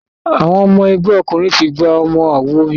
Àwọn ọmọ ẹgbẹ́ òkùnkùn tí gbà ọmọ awo mìíràn